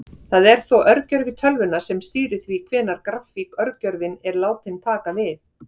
Það er þó örgjörvi tölvunnar sem stýrir því hvenær grafík-örgjörvinn er látinn taka við.